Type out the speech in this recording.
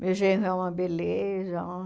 Meu genro é uma beleza,